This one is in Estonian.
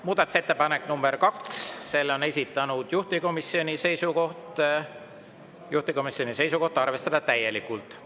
Muudatusettepanek nr 2: selle on esitanud ja juhtivkomisjoni seisukoht on arvestada seda täielikult.